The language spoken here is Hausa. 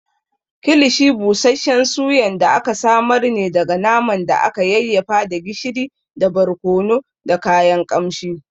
Kilishi busasshen Suyan da aka samar ne daga naman da aka yayyafa da gishiri da barkono da kayan ƙamshi.